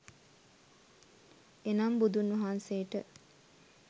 එනම් බුදුන්වහන්සේට